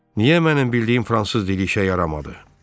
Niyə mənim bildiyim fransız dili işə yaramadı?